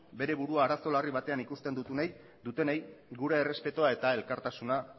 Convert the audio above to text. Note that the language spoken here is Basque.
bere burua arazo larri batean ikusten dutenei gure errespetua eta elkartasuna